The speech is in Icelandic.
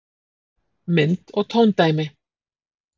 Mynd og tóndæmi: